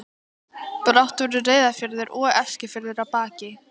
Brátt voru Reyðarfjörður og Eskifjörður að baki.